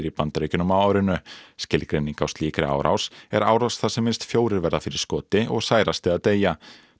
í Bandaríkjunum á árinu skilgreining á slíkri árás er árás þar sem minnst fjórir verða fyrir skoti og særast eða deyja